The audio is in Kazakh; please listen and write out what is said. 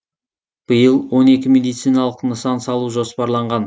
биыл он екі медициналық нысан салу жоспарланған